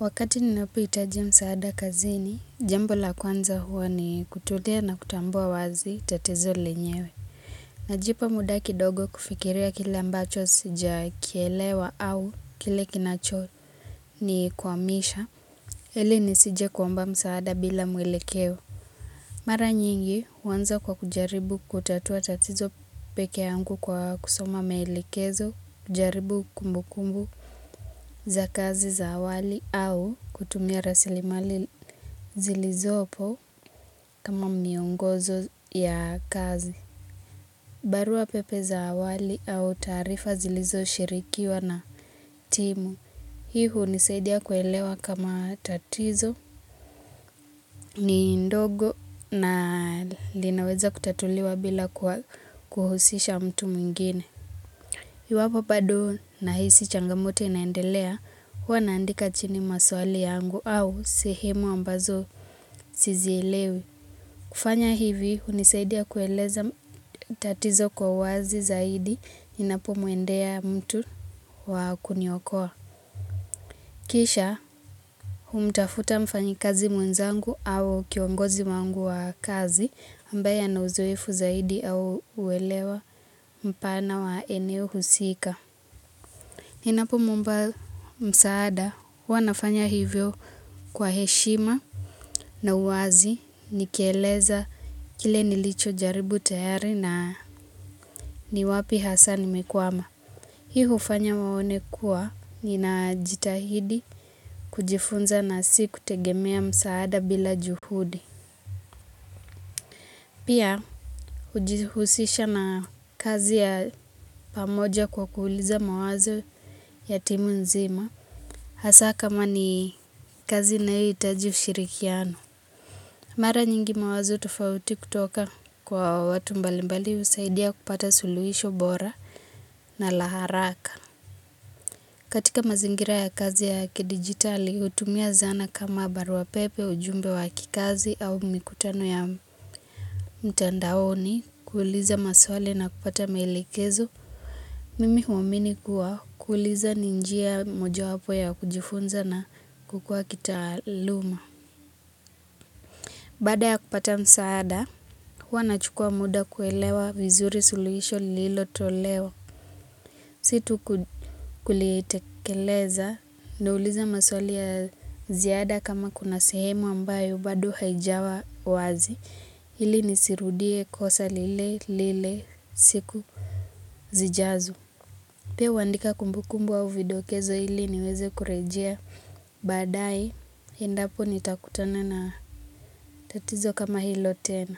Wakati ninapohitaji msaada kazini, jambo la kwanza huwa ni kutulea na kutambua wazi tatizo lenyewe. Najipa muda kidogo kufikiria kile ambacho sijakielewa au kile kinachonikwamisha. Hili nisije kuomba msaada bila mwelekeo. Mara nyingi huanza kwa kujaribu kutatua tatizo pekee yangu kwa kusoma maelekezo kujaribu kumbu kumbu. Wali au zilizopo kama miongozo ya kazi. Barua pepe za awali au taarifa zilizoposhirikiwa na timu. Hiu hunisaidia kuelewa kama tatizo ni ndogo na linaweza kutatuliwa bila kuhusisha mtu mingine. Iwapo bado nahisi changamoto inaendelea huwa naandika chini maswali yangu au sehemu ambazo sizielewi. Kufanya hivi hunisaidia kueleza tatizo kwa wazi zaidi inapomwendea mtu wa kuniokoa. Kisha umtafute mfanyikazi mwenzangu au kiongozi wangu wa kazi ambaye ana uzoefu zaidi au uelewa mpana wa eneo husika. Ninapomuomba msaada huwa nafanya hivyo kwa heshima na uwazi nikieleza kile nilichojaribu tayari na ni wapi hasa nimekwama. Hii hufanya waone kuwa ninajitahidi kujifunza na si kutegemea msaada bila juhudi. Pia hujihusisha na kazi ya pamoja kwa kuuliza mawazo ya timu nzima. Hasa kama ni kazi inayohitaji ushirikiano. Mara nyingi mawazo tofauti kutoka kwa watu mbalimbali husaidia kupata suluhisho bora na la haraka. Katika mazingira ya kazi ya kidigitali hutumia zana kama barua pepe ujumbe wa kikazi au mikutano ya mtandaoni kuuliza maswali na kupata maelekezo. Mimi huwamini kuwa kuuliza ni njia mojawapo ya kujifunza na kukua kitaaluma. Baada ya kupata msaada, huwa nachukua muda kuelewa vizuri suluhisho lililotolewa. Si tu kulitekeleza, nauliza maswali ya ziada kama kuna sehemu ambayo, bado haijawa wazi. Ili nisirudie kosa lile, lile, siku, siijazo. Pia huandika kumbukumbu au vidokezo ili niweze kurejea. Baadaye, endapo nitakutana na tatizo kama hilo tena.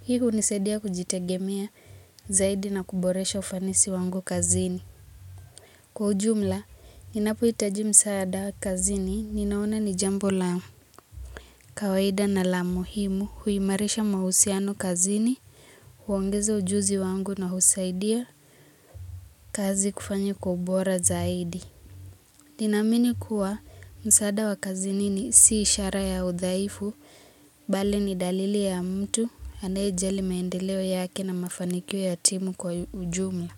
Hii hunisaidia kujitegemea zaidi na kuboresha ufanisi wangu kazini. Kwa ujumla, ninapohitaji msaada wa kazini, ninaona ni jambo la kawaida na la muhimu huimarisha mahusiano kazini, huongeza ujuzi wangu na husaidia kazi kufanya kwa bora zaidi. Ninaamini kuwa msaada wa kazini si ishara ya udhaifu, bali ni dalili ya mtu anayejali maendeleo yake na mafanikio ya timu kwa ujumla.